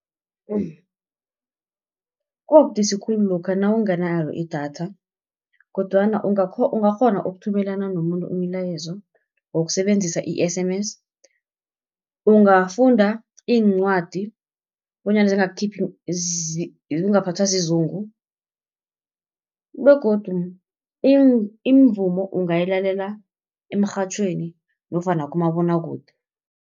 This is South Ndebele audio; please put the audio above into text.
kubudisi khulu lokha nawunganalo idatha, kodwana ungakghona ukuthumelana nomuntu umlayezo wokusebenzisa i-S_M_S. Ungafunda iincwadi bonyana ungaphathwa sizungu, begodu imivumo ungayilalela emrhatjhweni nofana kumabonwakude.